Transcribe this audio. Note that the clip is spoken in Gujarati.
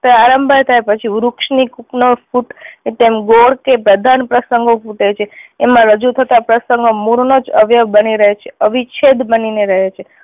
પ્રારંભ થાય પછી વૃક્ષની કુપનો ફૂટે તેમ ગોળ કે પ્રસંગો ફૂટે છે એમાં રજૂ થતાં પ્રસંગો મૂળ નો જ અવયવ બની ને રહે છે. અવિચ્છેદ બની ને રહે છે.